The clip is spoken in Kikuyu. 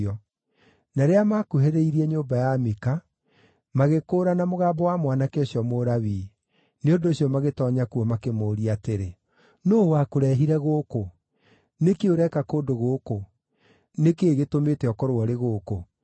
Na rĩrĩa maakuhĩrĩirie nyũmba ya Mika, magĩkũũrana mũgambo wa mwanake ũcio Mũlawii; nĩ ũndũ ũcio magĩtoonya kuo makĩmũũria atĩrĩ, “Nũũ wakũrehire gũkũ? Nĩ kĩĩ ũreka kũndũ gũkũ? Nĩ kĩĩ gĩtũmĩte ũkorwo ũrĩ gũkũ?”